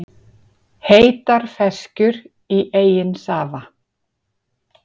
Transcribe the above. Heitar ferskjur í eigin safa